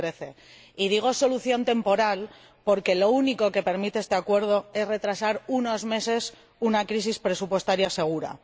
2013. Y digo solución temporal, porque lo único que permite este acuerdo es retrasar unos meses una crisis presupuestaria segura.